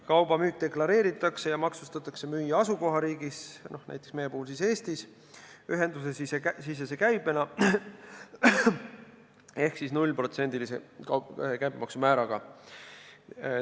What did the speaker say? Kauba müük deklareeritakse ja maksustatakse müüja asukohariigis, näiteks meie puhul Eestis, ühendusesisese käibena ehk nullprotsendilise käibemaksumääraga.